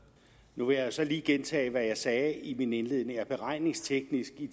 nu vil jeg så lige gentage hvad jeg sagde i min indledning at beregningsteknisk i